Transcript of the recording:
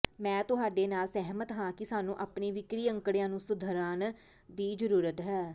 ਮੈਂ ਤੁਹਾਡੇ ਨਾਲ ਸਹਿਮਤ ਹਾਂ ਕਿ ਸਾਨੂੰ ਆਪਣੇ ਵਿਕਰੀ ਅੰਕੜਿਆਂ ਨੂੰ ਸੁਧਾਰਨ ਦੀ ਜ਼ਰੂਰਤ ਹੈ